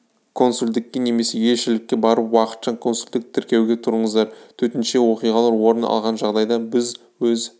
консулдікке немесе елшілікке барып уақытша консулдық тіркеуге тұрыңыздар төтенше оқиғалар орын алған жағдайда біз өз